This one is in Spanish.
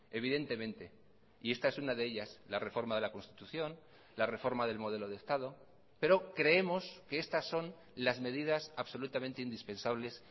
evidentemente y esta es una de ellas la reforma de la constitución la reforma del modelo de estado pero creemos que estas son las medidas absolutamente indispensables